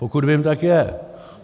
Pokud vím, tak je.